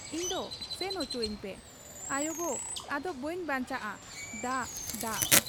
ᱤᱧᱫᱚ ᱥᱮᱱ ᱚᱪᱚᱣᱟᱹᱧ ᱯᱮ ᱾ ᱟᱭᱚᱜᱚ ! ᱟᱫᱚ ᱵᱟᱹᱧ ᱵᱟᱧᱪᱟᱣᱜ ᱟ ᱾ ᱫᱟᱜ, ᱫᱟᱜ ᱾'